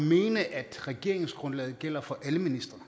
mene at regeringsgrundlaget gælder for alle ministre